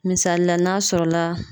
Misalila n'a sɔrɔla